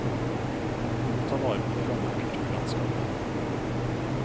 Vi må ta vare på det gamle kulturlandskapet.